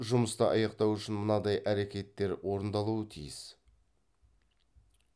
жұмысты аяқтау үшін мынадай әрекеттер орындалуы тиіс